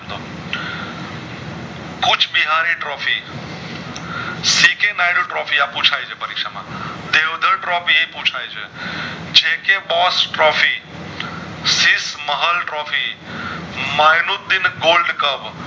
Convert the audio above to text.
બિહની trophy આ પૂછય છે પરીક્ષા માં એ પૂછય છે j k boss trophy Shri મહર્ષ trophy મેયનુંદીન gold cup